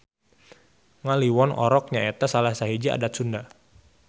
Ngaliwon Orok nyaeta salah sahiji adat Sunda.